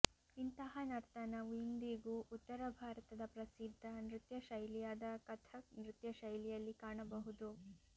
ಇಂತಹ ನರ್ತನವು ಇಂದಿಗೂ ಉತ್ತರ ಭಾರತದ ಪ್ರಸಿದ್ಧ ನೃತ್ಯ ಶೈಲಿಯಾದ ಕಥಕ್ ನೃತ್ಯ ಶೈಲಿಯಲ್ಲಿ ಕಾಣಬಹುದು